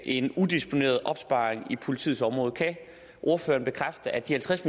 en udisponeret opsparing på politiets område kan ordføreren bekræfte at de halvtreds